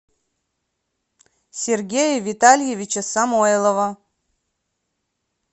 сергея витальевича самойлова